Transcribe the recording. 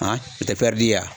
o tɛ ye wa?